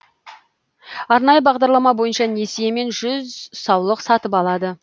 арнайы бағдарлама бойынша несиемен жүз саулық сатып алады